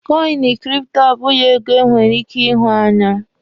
kọịnị kripto abụghị ego e nwere ike ihụ anya.